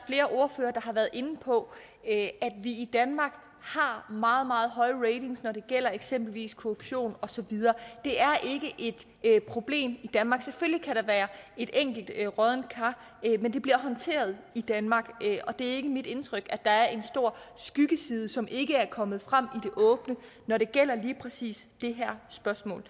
har været inde på at vi i danmark har meget meget høje ratings når det gælder eksempelvis korruption det er ikke et problem i danmark selvfølgelig være et enkelt broddent kar men det bliver håndteret i danmark og det er ikke mit indtryk at der er en stor skyggeside som ikke er kommet frem i det åbne når det gælder lige præcis det her spørgsmål